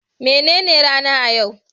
Me nene ranar a yau?